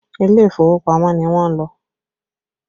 Ilé ìfowópamọ́ ni wọ́n lọ